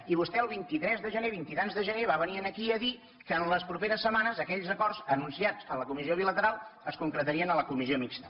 i vostè el vint tres de gener vint i tants de gener va venir aquí a dir que en les properes setmanes aquells acords anunciats a la comissió bilateral es concretarien a la comissió mixta